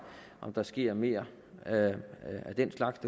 om der sker mere af den slags